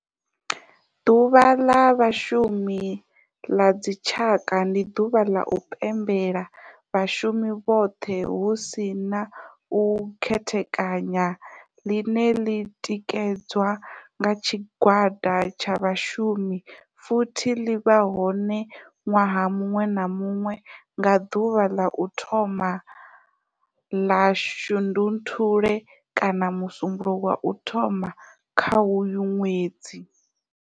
Ḓuvha la Vhashumi la dzi tshaka, ndi duvha la u pembela vhashumi vhothe hu si na u khethekanya line li tikedzwa nga tshigwada tsha vhashumi futhi li vha hone nwaha munwe na munwe nga duvha la u thoma 1 la Shundunthule kana musumbulowo wa u thoma kha uyo nwedzi.